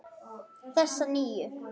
Þessa nýju.